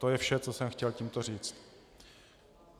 To je vše, co jsem chtěl tímto říct.